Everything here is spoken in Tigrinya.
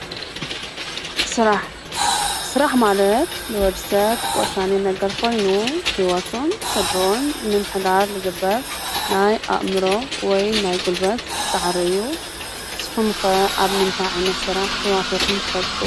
ስራሕ፡- ስራሕ ማለት ንወድ ሰብ ወሳኒ ነገር ኾይኑ ህይወቱን ስድርኡን ንምሕዳር ልግበር ናይ ኣእምሮ ወይ ናይ ጕልበት ፃዕሪ አዩ፡፡ ንስኹም ከ ኣብ ምንታይ ዓይነት ስራሕ ተዋፊርኩም ትፈልጡ?